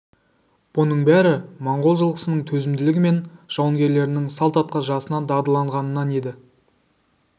бұның бәрі монғол жылқысының төзімділігі мен жауынгерлерінің салт атқа жасынан дағдыланғанынан еді